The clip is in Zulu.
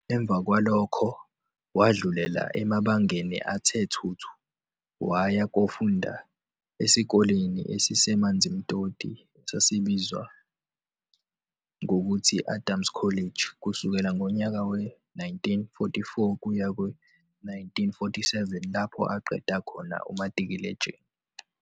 Emva kwalokho wadlulela emabangeni athe thuthu, waya kofunda esikoleni esiseManzimtoti esibizwa ngokuthi Adams College kusukela ngonyaka we-1944 kuya kwe-1947 lapho aqeda khona umatikuletsheni.